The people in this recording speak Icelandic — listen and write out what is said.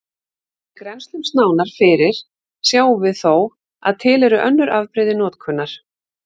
Ef við grennslumst nánar fyrir sjáum við þó að til eru önnur afbrigði notkunar.